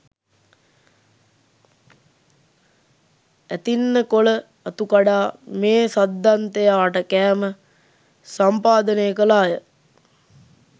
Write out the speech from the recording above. ඇතින්න කොළ අතු කඩා මේ සද්දන්තයාට කෑම සම්පාදනය කළාය.